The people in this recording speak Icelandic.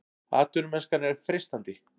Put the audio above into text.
Atvinnumennskan er freistandi